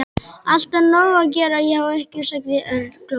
Alltaf nóg að gera hjá ykkur sagði Örn glottandi.